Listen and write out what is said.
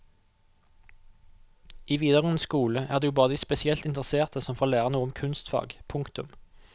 I videregående skole er det jo bare de spesielt interesserte som får lære noe om kunstfag. punktum